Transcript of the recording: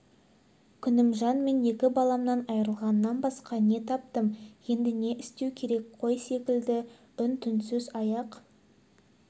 күнімжан мен екі баламнан айырылғаннан басқа не таптым енді не істеу керек қой секілді үн-түнсіз аяқ